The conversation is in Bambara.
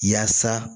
Yaasa